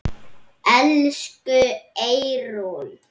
Elsku Eyrún.